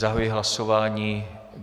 Zahajuji hlasování.